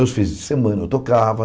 Os fins de semana, eu tocava.